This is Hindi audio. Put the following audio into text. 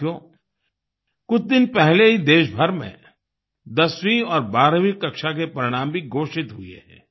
साथियो कुछ दिन पहले ही देशभर में 10वीं और 12वीं कक्षा के परिणाम भी घोषित हुए हैं